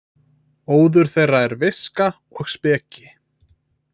Óður þeirra er viska og speki.